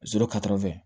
Zoro karifɛ